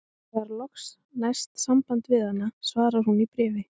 Þegar loks næst samband við hana svarar hún í bréfi